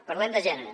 parlem de gènere